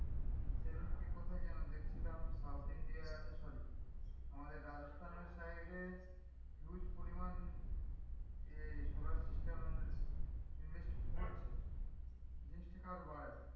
সে দিনকে কোথায় যেন দেখছিলাম south india sorry আমাদের রাজস্থানের side এ huge পরিমান যে solar system এর invest করছে invest টা আরও বাড়াবে,